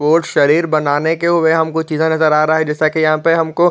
वो शरीर बनाने के रहा है जैसा कि यहाँ पे हमको --